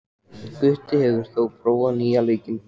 Gutti, hefur þú prófað nýja leikinn?